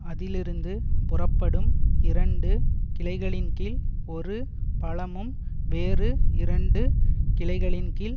அதிலிருந்து புறப்படும் இரண்டு கிளைகளின்கீழ் ஒரு பழமும் வேறு இரண்டு கிளைகளின்கீழ்